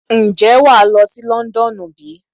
Ǹjẹ́ wà á lọ sí Londonu bí?